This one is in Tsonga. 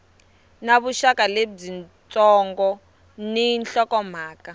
na vuxaka byitsongo ni nhlokomhaka